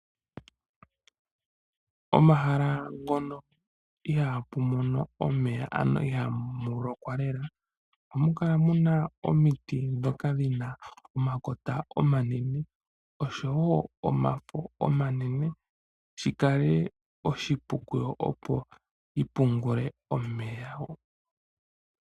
Omahala ngono ihaapu mono omeya ano ihaamu lokwa lela ohamu kala muna omiti ndhoka dhina omakota omanene oshowo omafo omanene shi kale oshipu kudho opo dhi pungule omeya.